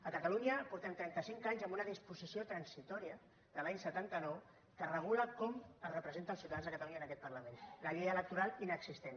a catalunya portem trentacinc anys amb una disposició transitòria de l’any setanta nou que regula com es representa els ciutadans de catalunya en aquest parlament la llei electoral inexistent